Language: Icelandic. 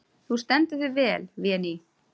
Þú stendur þig vel, Véný!